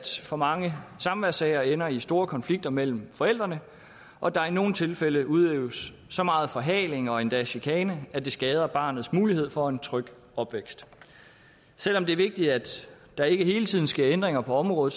for mange samværssager ender i store konflikter mellem forældrene og at der i nogle tilfælde udøves så meget forhaling og endda chikane at det skader barnets mulighed for en tryg opvækst selv om det er vigtigt at der ikke hele tiden sker ændringer på området